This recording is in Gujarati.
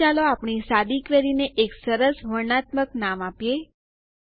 અહીં ચાલો આપણી સાદી કવેરીને એક સરસ વર્ણનાત્મક નામ આપીએ